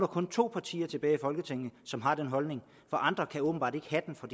kun to partier tilbage i folketinget som har den holdning for andre kan åbenbart ikke have den for